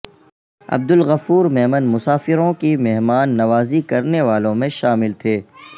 عبدالغفور میمن مسافروں کی مہمان نوازی کرنے والوں میں شامل تھے